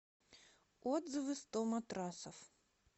отзывы сто матрасов